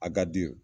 A ka di ye